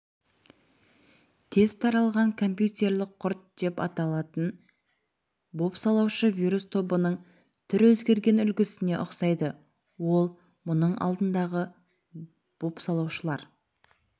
тез таралған компьютерлік құрт деп аталатын бопсалаушы-вирус тобының түр өзгерген үлгісіне ұқсайды ол мұның алдындағы бопсалаушылар